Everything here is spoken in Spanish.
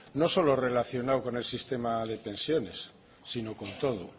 no solo relacionado con el sistema de pensiones sino con todo